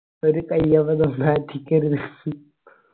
ഒരു കൈ അബദ്ധം നാറ്റിക്കരുത്